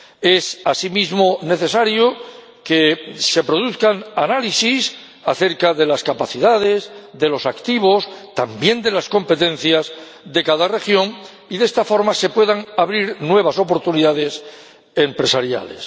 Es asimismo necesario que se produzcan análisis acerca de las capacidades, de los activos, también de las competencias, de cada región y que de esta forma se puedan abrir nuevas oportunidades empresariales.